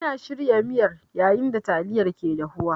Ina shirya miyar yayin da yayin da taliyar ke dafuwa.